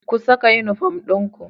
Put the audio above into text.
Ku saka unifom dinku